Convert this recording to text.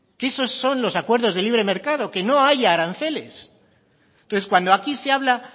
que esos son los acuerdos de libre mercado que no haya aranceles entonces cuando aquí se habla